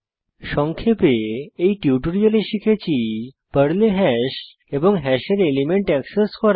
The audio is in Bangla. সংক্ষেপে এই টিউটোরিয়ালে শিখেছি পর্লে হ্যাশ এবং হ্যাশের এলিমেন্ট এক্সেস করা